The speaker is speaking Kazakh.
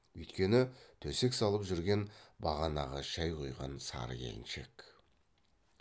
үйткені төсек салып жүрген бағанағы шай құйған сары келіншек